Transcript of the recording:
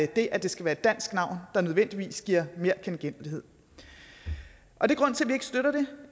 det at det skal være et dansk navn der nødvendigvis giver mere genkendelighed og det